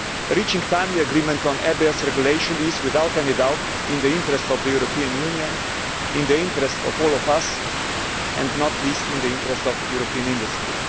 Reaching a timely agreement on ABS regulation is, without any doubt, in the interest of the European Union, in the interest of all of us and, not least, in the interest of European industry.